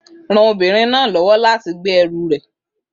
Ran obìnrin náà lọ́wọ́ láti gbé ẹrù rẹ̀